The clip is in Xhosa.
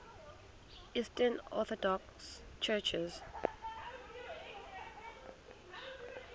eastern orthodox churches